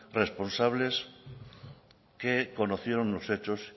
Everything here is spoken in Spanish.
responsables que conocieron los hechos